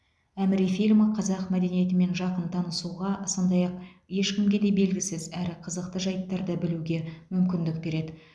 әміре фильмі қазақ мәдениетімен жақын танысуға сондай ақ ешкімге де белгісіз әрі қызықты жәйттарды білуге мүмкіндік береді